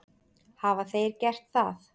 Hafa þeir gert það?